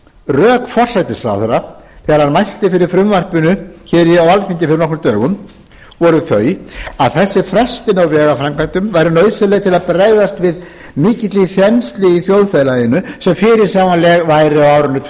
rök forsætisráðherra þegar hann mælti fyrir frumvarpinu hér á alþingi fyrir nokkrum dögum voru þau að þessi frestun á vegaframkvæmdum væri nauðsynleg til að bregðast við mikilli þenslu í þjóðfélaginu sem fyrirsjáanleg væri á árinu tvö